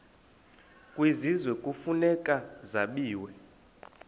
kwisizwe kufuneka zabiwe